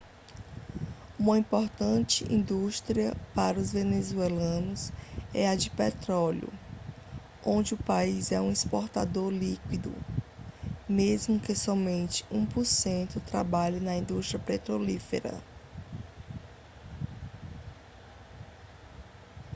uma importante indústria para os venezuelanos é a de petróleo onde o país é um exportador líquido mesmo que somente um por cento trabalhe na indústria petrolífera